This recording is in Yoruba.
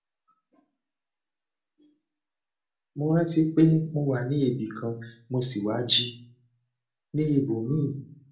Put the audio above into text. mo rántí pé mo wà ní ibì kan mo sì wá jí ní ibòmíì